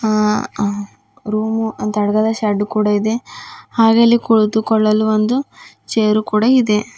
ಅ ಅ ರೂಮು ಅಂತಡ್ಡದ ಸೆಡ್ಡು ಕೂಡ ಇದೆ ಹಾಗೆ ಇಲ್ಲಿ ಕುಳಿತುಕೊಳ್ಳಲು ಒಂದು ಚೇರು ಕೂಡ ಇದೆ.